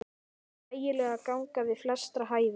Þægileg ganga við flestra hæfi.